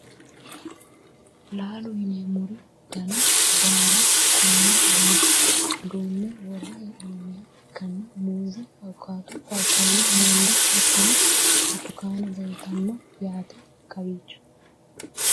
laalo yineemmore dana baala konne bayiicho duunne worre hee'noonniha ikkanna, muuze, awukaato, paapaayu, mango hattono burtukane leeltanno yaate kowiicho .